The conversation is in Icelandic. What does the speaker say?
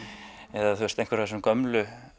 eða einhverja af þessum gömlu